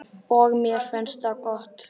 Og mér finnst það gott.